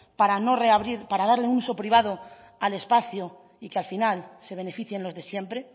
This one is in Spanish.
para no reabrir para darle un uso privado al espacio y que al final se beneficien los de siempre